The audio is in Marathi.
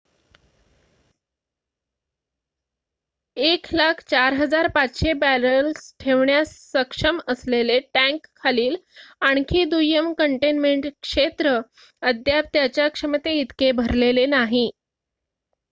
104,500 बॅरेल्स ठेवण्यास सक्षम असलेले टँकखालील आणखी दुय्यम कंटेनमेंट क्षेत्र अद्याप त्याच्या क्षमते इतके भरलेले नाही